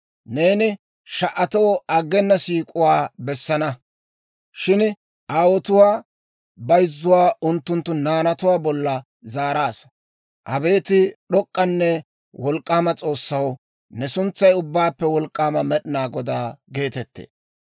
Neeni sha"atoo aggena siik'uwaa bessaasa; shin aawotuwaa bayzzuwaa unttunttu naanatuwaa bolla zaaraasa. Abeet d'ok'k'anne wolk'k'aama S'oossaw, ne suntsay Ubbaappe Wolk'k'aama Med'inaa Godaa geetettee.